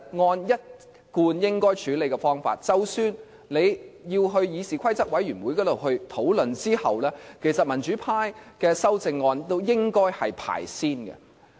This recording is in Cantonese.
按照一貫的處理方法，即使要先在議事規則委員會討論，民主派的修正案其實都應該排在前面。